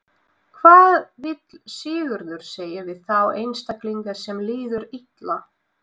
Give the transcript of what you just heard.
Hvað vill Sigurður segja við þá einstaklinga sem líður illa?